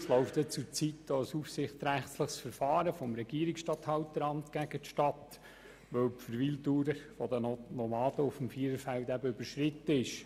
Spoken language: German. Es läuft ja zurzeit auch ein aufsichtsrechtliches Verfahren des Regierungsstatthalteramts gegen die Stadt, weil die Verweildauer der Nomaden auf dem Viererfeld überschritten wurde.